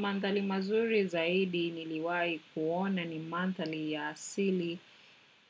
Manthali mazuri zaidi niliwai kuona ni manthali ya asili.